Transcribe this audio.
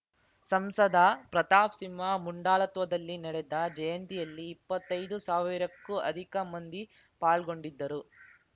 ಸಂಸದ ಪ್ರತಾಪ್‌ ಸಿಂಹ ಮುಂದಾಳತ್ವದಲ್ಲಿ ನಡೆದ ಜಯಂತಿಯಲ್ಲಿ ಇಪ್ಪತ್ತೈದು ಸಾವಿರಕ್ಕೂ ಅಧಿಕ ಮಂದಿ ಪಾಲ್ಗೊಂಡಿದ್ದರು